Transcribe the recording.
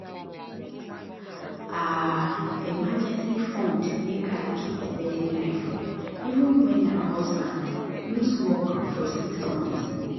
her emergency fund make her keep steady life even when her husband lose work for six months.